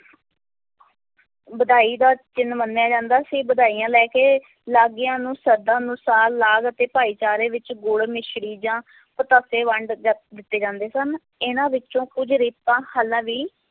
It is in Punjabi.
ਵਧਾਈ ਦਾ ਚਿੰਨ੍ਹ ਮੰਨਿਆ ਜਾਂਦਾ ਸੀ, ਵਧਾਈਆਂ ਲੈ ਕੇ ਲਾਗੀਆਂ ਨੂੰ ਸ਼ਰਧਾ ਅਨੁਸਾਰ ਲਾਗ ਅਤੇ ਭਾਈਚਾਰੇ ਵਿੱਚ ਗੁੜ, ਮਿਸਰੀ ਜਾਂ ਪਤਾਸੇ ਵੰਡ ਜਾ ਦਿੱਤੇ ਜਾਂਦੇ ਸਨ, ਇਹਨਾਂ ਵਿੱਚੋਂ ਕੁੱਝ ਰੀਤਾਂ ਹਾਲਾਂ ਵੀ